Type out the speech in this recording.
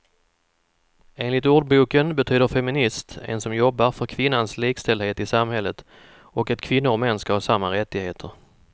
Enligt ordboken betyder feminist en som jobbar för kvinnans likställdhet i samhället och att kvinnor och män ska ha samma rättigheter.